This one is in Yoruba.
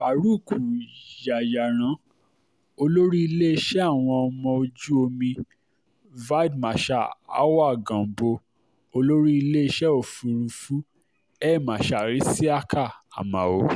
farouk yayaran olórí iléeṣẹ́ àwọn ọmọ ojú omi víde marshal awwal gambo olórí iléeṣẹ́ òfurufú air marshal isiaka amao